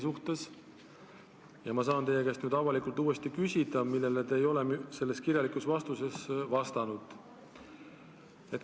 Nüüd saan ma teie käest avalikult uuesti küsida seda, millele te ei ole kirjalikult vastanud.